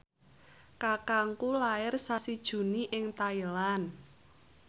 kakangku lair sasi Juni ing Thailand